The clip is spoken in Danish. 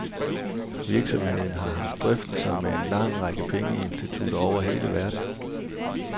Virksomheden har haft drøftelser med en lang række pengeinstitutter over hele verden.